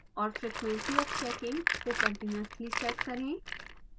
और frequency of checking को continuously set करें